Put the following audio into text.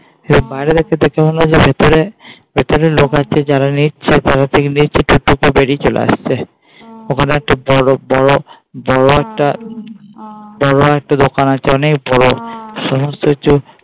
এরপর বাইরে রেখে দেখে মনে হয় যে ভেতরে ভেতরে লোক আছে যারা নিচ্ছে বেরিয়ে চলে আসছে. ওখানে একটা বড় বড় একটা বড় একটা দোকান আছে অনেক বড় সমস্ত হচ্ছে।